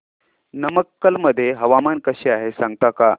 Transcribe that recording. नमक्कल मध्ये हवामान कसे आहे सांगता का